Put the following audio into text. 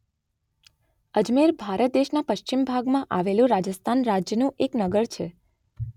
અજમેર ભારત દેશના પશ્ચિમ ભાગમાં આવેલા રાજસ્થાન રાજ્યનું એક નગર છે.